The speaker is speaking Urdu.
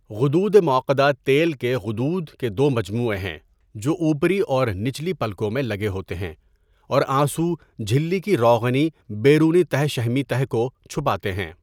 غدود معقدہ تیل کے غدود کے دو مجموعے ہیں جو اوپری اور نچلی پلکوں میں لگے ہوتے ہیں اور آنسو جھلی کی روغنی بیرونی تہہ شحمی تہہ کو چھپاتے ہیں.